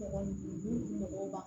mɔgɔw ma